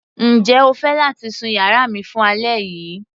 Njẹ́ o fẹ́ láti sun yàrá mi fún alẹ́ yìí.